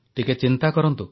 ଟିକିଏ ଚିନ୍ତା କରନ୍ତୁ